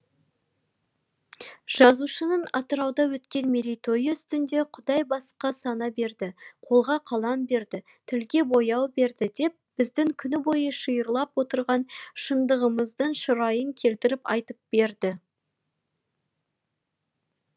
жазушының атырауда өткен мерейтойы үстінде құдай басқа сана берді қолға қалам берді тілге бояу берді деп біздің күні бойы шиырлап отырған шындығымыздың шырайын келтіріп айтып берді